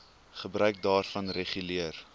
gebruik daarvan reguleer